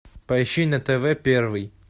поищи на тв первый